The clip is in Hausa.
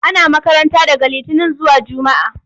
Ana makaranta daga litinin zuwa jumaa.